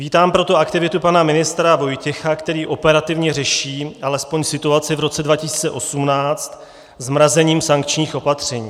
Vítám proto aktivitu pana ministra Vojtěcha, který operativně řeší alespoň situaci v roce 2018 zmrazením sankčních opatření.